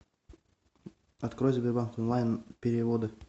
открой сбербанк онлайн переводы